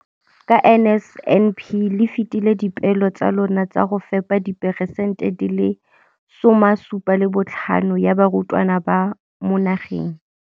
Ka NSNP le fetile dipeelo tsa lona tsa go fepa masome a supa le botlhano a diperesente ya barutwana ba mo nageng.